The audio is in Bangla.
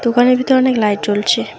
দোকানের ভিতর অনেক লাইট জ্বলছে।